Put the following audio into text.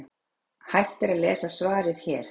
Hægt er að lesa svarið hér.